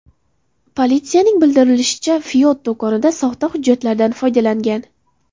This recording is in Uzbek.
Politsiyaning bildirishicha, Floyd do‘konda soxta hujjatlardan foydalangan.